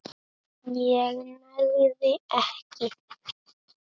ég nægði ekki.